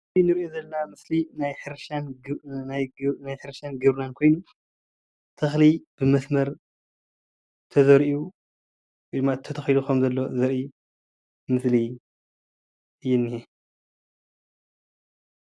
እዚ እንሪኦ ዘለና ምስሊ ናይ ሕርሻን ናይ ግብርናን ኮይኑ ተክሊ ብመስመር ተዘሪኡ ወይ ድማ ተተኪሉ ከም ዘሎ ዘርኢ ምስሊ እዩ ዝኒሀ፡፡